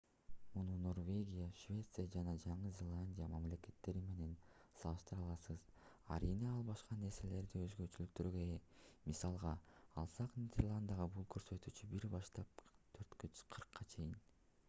муну норвегия швеция жана жаңы зеландия мамлекеттери менен салыштыра аласыз арийне ал башка нерселерде өзгөчөлүктөргө ээ мисалга алсак нидерландыда бул көрсөткүч 1 баштап 40 чейин